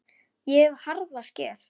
Ég hef harða skel.